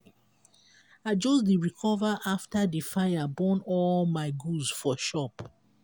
i just dey recover after di fire burn all my goods for shop.